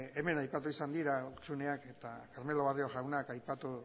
hemen aipatu izan dira hutsuneak eta carmelo barrio jaunak aipatu